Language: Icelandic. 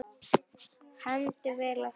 Hermdi vel eftir.